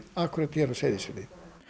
hér á Seyðisfirði